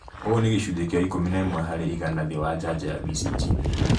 Ũũ nĩ gĩcunjĩ kĩa ikũmi na ĩmwe harĩ igana thĩ wa njanjo ya BCG